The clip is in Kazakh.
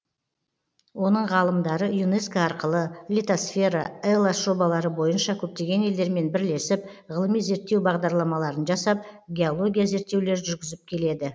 оның ғалымдары юнеско арқылы литосфера элас жобалары бойынша көптеген елдермен бірлесіп ғылыми зерттеу бағдарламаларын жасап геология зерттеулер жүргізіп келеді